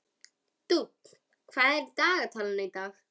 Dúnn, hvað er í dagatalinu í dag?